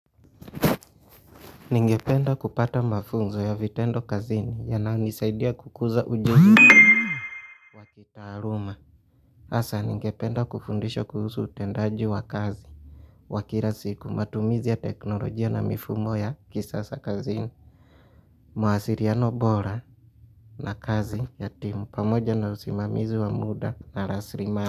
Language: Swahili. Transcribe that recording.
Ningependa kupata mafunzo ya vitendo kazini yanayonisaidia kukuza ujuzi wa kitaaluma, hasa ningependa kufundisha kuhusu utendaji wa kazi, wa kila siku, matumizi ya teknolojia na mifumo ya kisasa kazini Mwasiriano bora na kazi ya timu pamoja na usimamizi wa muda na rasilimali.